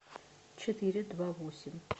четыре два восемь